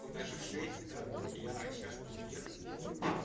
у нас же в шесть да ну вот я сейчас буду ехать сделаю